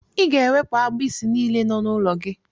Ị ga-ewepụ agbisi niile nọ n'ụlọ gị.